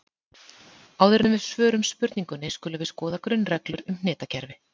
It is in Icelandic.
Áður en við svörum spurningunni skulum við skoða grunnreglur um hnitakerfi.